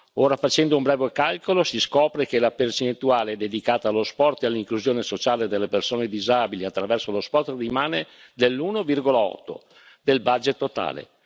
Ora, facendo un breve calcolo, si scopre che la percentuale dedicata allo sport e all'inclusione sociale delle persone disabili attraverso lo sport rimane dell'1,8 del budget totale.